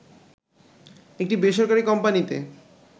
একটি বেসরকারি কোম্পানিতে